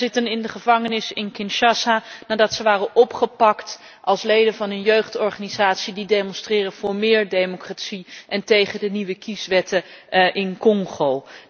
Zij zitten in Kinshasa in de gevangenis nadat ze waren opgepakt als leden van een jeugdorganisatie die demonstreerden voor meer democratie en tegen de nieuwe kieswetten in Congo.